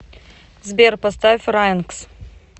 сбер поставь райнкс